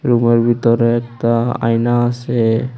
রুমের ভিতরে একতা আয়না আসে।